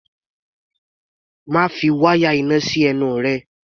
Má fi wáyà iná sí ẹnu rẹ!